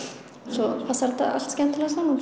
svo passar þetta allt skemmtilega saman